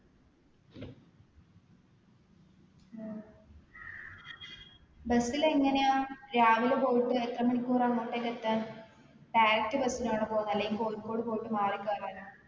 ഉം bus ൽ എങ്ങനെയാ രാവിലെ പോയിട്ട് എത്രമണിക്കൂറാ അങ്ങോട്ടേക്ക് എത്താൻ direct bus ലാണോ പോന്നെ അല്ലെങ്കിൽ കോഴിക്കോട് പോയിട്ട് മാറി കേറാനോ